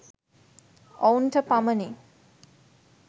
ඔවුන්ට පමණි.